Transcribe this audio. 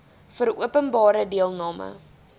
vir openbare deelname